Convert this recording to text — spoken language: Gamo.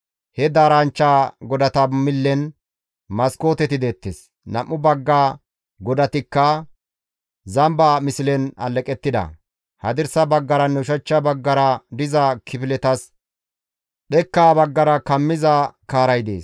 He daaranchcha godata millen maskooteti deettes. Nam7u bagga godatikka zamba mislen alleqettida; hadirsa baggaranne ushachcha baggara diza kifiletas dhekkaa baggara kammiza kaaray dees.